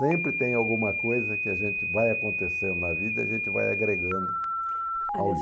Sempre tem alguma coisa que a gente vai acontecendo na vida, a gente vai agregando ao livro.